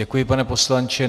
Děkuji, pane poslanče.